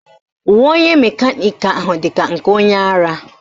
Uwe onye mekaniki ahụ dị ka nke onye ara